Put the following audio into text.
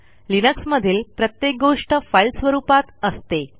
लिनक्समधील प्रत्येक गोष्ट फाईल स्वरूपात असते